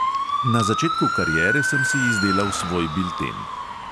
Na začetku kariere sem si izdelal svoj bilten.